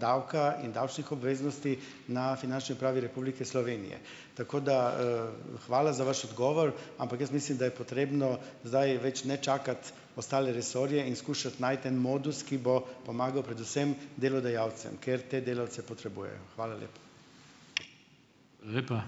davka in davčnih obveznosti na Finančni upravi Republike Slovenije. Tako da, hvala za vaš odgovor, ampak jaz mislim, da je potrebno zdaj več ne čakati ostale resorje in skušati najti en modus, ki bo pomagal predvsem delodajalcem, ker te delavce potrebujejo. Hvala lepa.